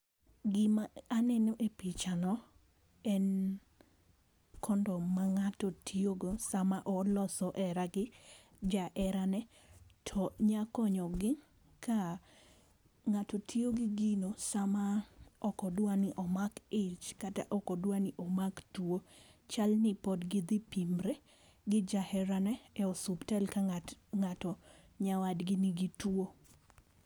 Gima aneno e pichano en kondom ma ng'ato tiyo go e sama oloso here gi jaherane. To nya konyo gi ka ng'ato tiyo gi gino sama ok odwa ni omak ich kata ok odwa ni omak tuo chal ni pod gi dhi pimre gi jaherane e osuptal ka ng'at ng'ato ka nyawadgi nigi tuo.